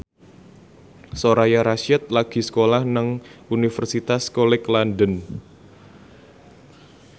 Soraya Rasyid lagi sekolah nang Universitas College London